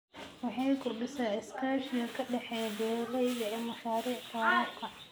Waxay kordhisaa iskaashiga ka dhexeeya beeralayda ee mashaariicda waraabka.